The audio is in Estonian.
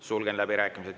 Sulgen läbirääkimised.